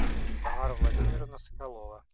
тамара владимировна соколова